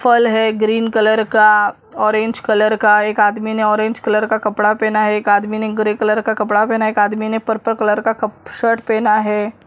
फल है green colour का ऑरेंज कलर का एक आदमी ने ऑरेंज कलर का कपड़ा पहनना है एक आदमी नहीं ग्रे कलर का कपड़ा है एक आदमी में पर्पल कलर का कप शर्ट पहना है।